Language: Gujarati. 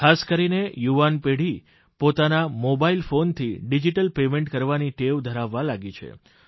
ખાસ કરીને યુવાનપેઢી પોતાના મોબાઇલ ફોનથી ડીજીટલ પેમેન્ટ કરવાની ટેવ ધરાવવા લાગી છે